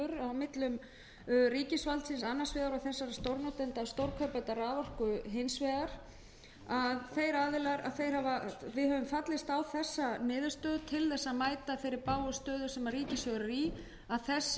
milli ríkisvaldsins annars vegar og stórnotenda og stórkaupenda raforku hins vegar við höfum fallist á þessa niðurstöðu til að mæta þeirri bágu stöðu sem ríkissjóður er í og þessir